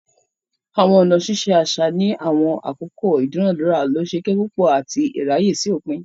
Awọn ọna ṣiṣe aṣa ni awọn akoko idunadura losokepupo ati iraye si opin.